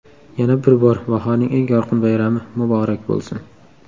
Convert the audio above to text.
Yana bir bor, bahorning eng yorqin bayrami muborak bo‘lsin!